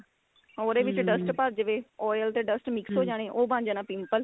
ਉਹਦੇ ਵਿੱਚ dust ਭਰ ਜਾਵੇ oil ਤੇ dust mix ਹੋ ਜਾਣੇ ਉਹ ਬਣ ਜਾਣਾ pimple